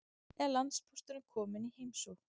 Er landpósturinn kominn í heimsókn?